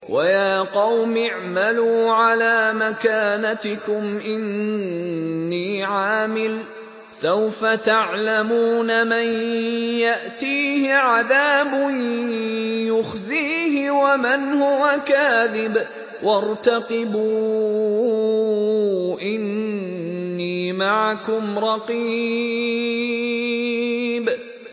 وَيَا قَوْمِ اعْمَلُوا عَلَىٰ مَكَانَتِكُمْ إِنِّي عَامِلٌ ۖ سَوْفَ تَعْلَمُونَ مَن يَأْتِيهِ عَذَابٌ يُخْزِيهِ وَمَنْ هُوَ كَاذِبٌ ۖ وَارْتَقِبُوا إِنِّي مَعَكُمْ رَقِيبٌ